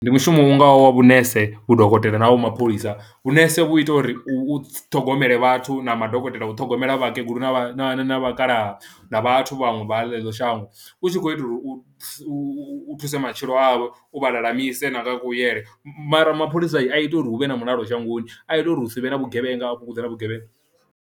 Ndi mushumo u ngaho wa vhunese, vhudokotela na havho mapholisa vhunese vhu ita uri u ṱhogomela vhathu na madokotela u ṱhogomela vhakegulu na vhakalaha na vhathu vhaṅwe vha ḽeḽo shango, u tshi khou itela u u thuse matshilo avho u vha lalamise na nga a kuyele. Mara mapholisa a ita uri hu vhe na mulalo shangoni a ita uri hu si vhe na vhugevhenga a fhungudze na vhugevhenga.